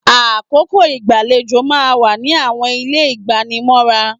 Àkókò igbalejo máa ń wà ní àwọn ilé igbanimọ́ra.